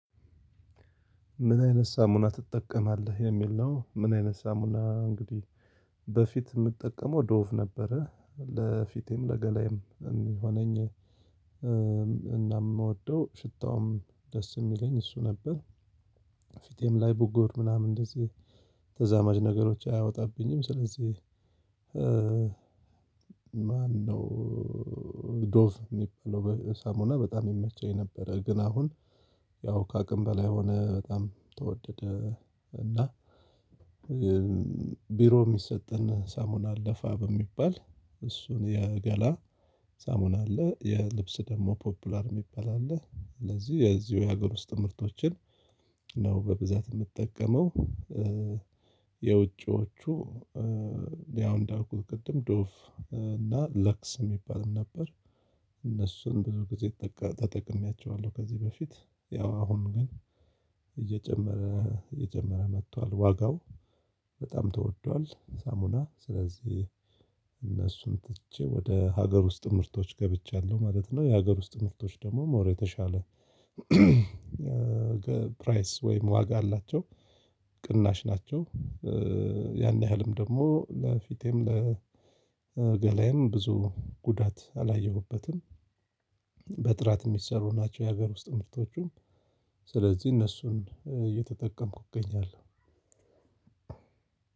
ምን አይነት ሳሙና ትጠቀማለህ የሚል ነው? ምን አይነት ሳሙና እንግዲህ በፊት የምጠቀመው ዶፍ ነበረ ለፊቴም ለገላዬም የሚሆነኝ እና የምወደው ሽታውም ደስ የሚለኝ እሱ ነበር። ፊቴም ላይ ቡጎር ምናምን እንደዚህ ተዛማች ነገሮች አያወጣብኝም። ስለዚህ ማነው ዶፍ የሚበለው ሳሙና በጣም ይመቸኝ ነበረ። ግን አሁን ያው ከአቅም በላይ ሆነ በጣም ተወደደ። እና ቢሮ የሚሰጠን ሳሙና አለፋ በሚባል እሱን የገላ ሳሙና አለ የልብስ ደግሞ ፖፑላር የሚባል አለ። ስለዚህ የዚሁ የሀገር ውስጥ ምርቶችን ነው በብዛት የምትጠቀመው። የውጪዎቹ ያው እንዳልኩት ቅድም ዶፍ እና ለቅስ የሚባልም ነበር። እነሱን ብዙ ጊዜ ተጠቅሜያቸዋለሁ ከዚህ በፊት ያው አሁን ግን እየጨመረ እየጨመረ መጥቷል ዋጋው በጣም ተወዷል። ሳሙና ስለዚህ እነሱን ትቼ ወደ ሀገር ውስጥ ምርቶች ገብቻለሁ ማለት ነው። የሀገር ውስጥ ምርቶች ደግሞ ሞር የተሻለ ፕራይስ ወይም ዋጋ አላቸው። ቅናሽ ናቸው ያን ያህልም ደግሞ ለፊቴም ለገላዬም ብዙ ጉዳት አላየሁበትም። በጥራት የሚሰሩ ናቸው የሀገር ውስጥ ምርቶቹም ስለዚህ እነሱን እየተጠቀምኩኝ እገኛለሁ።